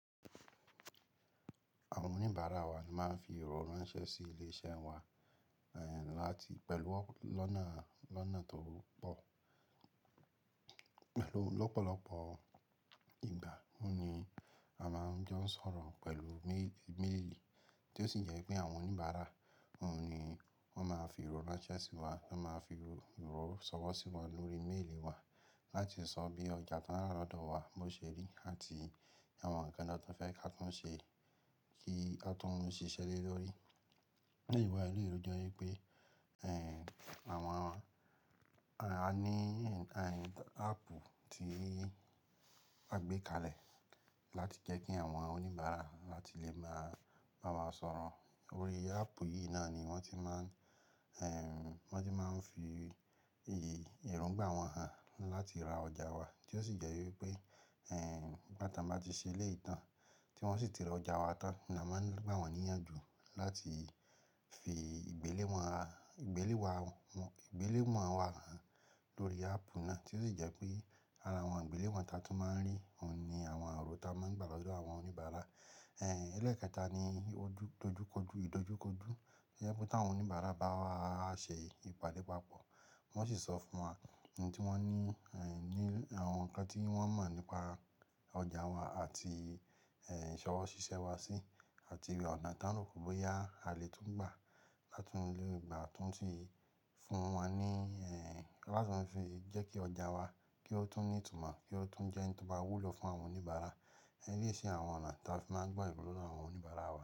Àwọn oníbàárà wa ní máa ń fi ìrò ranṣẹ́ sí ilé iṣẹ́ wa, láti pẹ̀lú lọ́nà tó pọ̀. Lọ́pọ̀lọpọ̀ ìgbà mí ni a máa ń jo ó ń sọ̀rọ̀ pẹ̀lú méèlì, tí ó sì jẹ́ pé àwọn oníbàárà naa ni wọ́n máa fi ìrò ranṣẹ́ sí wa, wọ́n máa fi ìrò sọ̀wọ́ sí wa lórí méèlì wa, láti sọ bí ọjà tań ràn lọ́dọ̀ wa bó ṣe rí àti àwọn ǹnkan náà tó fẹ́ ka tún ṣe kí a tún ṣíṣẹ́ le lórí. Lẹ́yìn wa elèyíi o jẹ́ wípé àwon a ní áàpù tí a gbé kalẹ̀ láti jẹ́ kí àwọn oníbàárà láti lè máa bá wa sọ̀rọ̀. Lórí áàpù yìí náà ni wọ́n ti máa ń fi erongbà wọ́n hàn láti ra ọjà wa, tí ó sì jẹ́ wípé nígbà tan bá ti ṣẹ́lẹ̀yiì tàn, tí wọ́n sì ti ra ọjà wa tán, ni a máa ń gbà wọ́n ní ìyànjú láti fi ìgbéléwọ̀n wa hàn lórí áàpù náà, tí ó sì jẹ́ pé ara àwọn ìgbéléwọ̀n ti a tun máa ń rí, òun ni àwọn irọ̀ tá a máa ń gbà lọ́dọ̀ àwọn oníbàárà. Ẹ̀lẹ́ẹ̀kẹta ni ìdojúkojú, ìdojúkojú to je pé tàwọn oníbàárà bá wa ṣe ìpàdé pápọ̀, wọ́n sì sọ fún wa ohun tí wọ́n ní ní àwọn ǹkan tí wọ́n mọ̀ nípa ọjà wa àti ìṣọwọ́ ṣíṣẹ́ wa sí, àti ọ̀nà táa lè rò bóyá a lè tún gbà láti mú lórí ìgbà tó ń ṣí fún wọ́n ní láti fi jẹ́ kí ọjà wa kí ó tún ní ìtumọ̀, kí ó tún jẹ́ ohun tí ó máa wúlò fún àwọn oníbàárà. Ilé iṣẹ́ àwọn ọ̀nà táa fi máa ń gbà ìbànulọ́ náà àwọn oníbàárà wa.